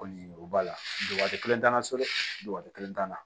Kɔni o b'a la dɔgɔ kelen t'a la so dɛ dɔgɔto kelen t'a na